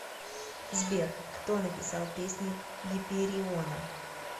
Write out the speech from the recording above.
сбер кто написал песни гипериона